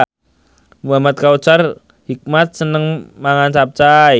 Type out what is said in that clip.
Muhamad Kautsar Hikmat seneng mangan capcay